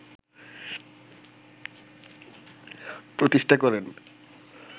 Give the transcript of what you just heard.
প্রতিষ্ঠা করেন